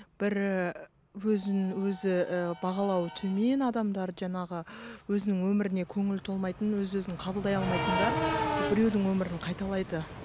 бірі өзін өзі ііі бағалауы төмен адамдар жаңағы өзінің өміріне көңілі толмайтын өз өзін қабылдай алмайтындар біреудің өмірін қайталайды